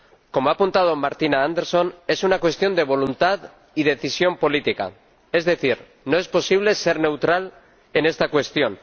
Como ha apuntado Martina Anderson, es una cuestión de voluntad y decisión política, es decir, no es posible ser neutral en esta cuestión.